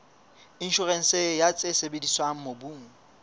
inshorense ya tse sebediswang mobung